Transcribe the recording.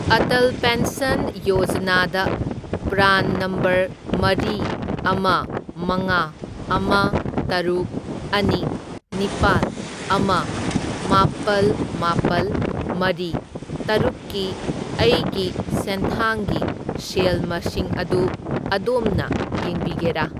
Atal pension ꯌꯣꯖꯅꯥꯗ PRAN number ꯃꯔꯤ, ꯑꯃ, ꯃꯉꯥ, ꯑꯃ, ꯇꯔꯨꯛ, ꯑꯅꯤ, ꯅꯤꯄꯥꯜ, ꯑꯃ, ꯃꯥꯄꯜ, ꯃꯥꯄꯜ, ꯃꯔꯤ, ꯇꯔꯨꯛꯀꯤ ꯑꯩꯒꯤ ꯁꯦꯟꯊꯥꯡꯒꯤ ꯁꯦꯜ ꯃꯁꯤꯡ ꯑꯗꯨ ꯑꯗꯣꯝꯅ ꯌꯦꯡꯕꯤꯒꯦꯔꯥ?